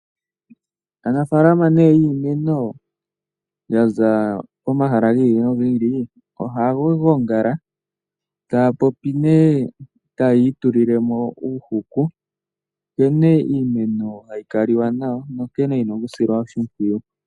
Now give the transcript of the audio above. Aanafaalama nee yiimeno yaza pomahala gi ili nogi ili, ohaya gongala taya popi nee taya itulile mo uuhuku nkene iimeno hayi kaliwa nayo, nonkene yina okusilwa oshimpyiyu.